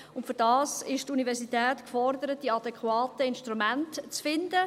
Dafür ist die Universität gefordert, die adäquaten Instrumente zu finden.